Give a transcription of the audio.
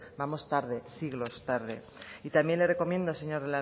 vamos tarde vamos siglos tarde y también le recomiendo señor